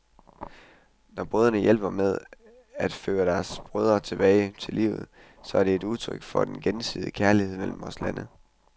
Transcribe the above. Når brødre hjælper med til at føre deres brødre tilbage til livet, så er det udtryk for den gensidige kærlighed mellem vore lande.